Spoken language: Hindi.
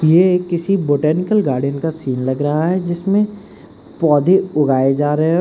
ये एक किसी बोटैनिकल गार्डन का सीन लगा रहा है जिसमें पौधे उगाए जा रहे है।